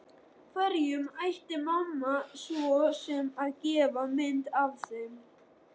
Hverjum ætti mamma svo sem að gefa mynd af þeim?